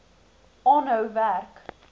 aanhou werk